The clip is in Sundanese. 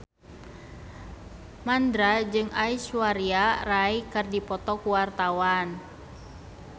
Mandra jeung Aishwarya Rai keur dipoto ku wartawan